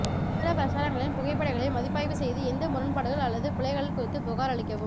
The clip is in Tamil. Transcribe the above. விளம்பர பிரச்சாரங்களின் புகைப்படங்களை மதிப்பாய்வு செய்து எந்த முரண்பாடுகள் அல்லது பிழைகள் குறித்து புகாரளிக்கவும்